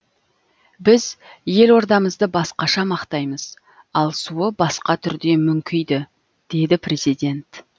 біз елордамызды басқаша мақтаймыз ал суы басқа түрде мүңкиді деді президент